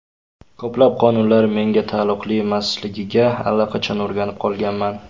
Ko‘plab qonunlar menga taalluqli emasligiga allaqachon o‘rganib qolganman.